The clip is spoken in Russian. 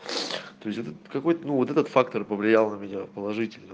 то есть этот какой-то ну вот этот фактор повлиял на меня положительно